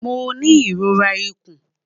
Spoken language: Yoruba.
Mo ni irora ikun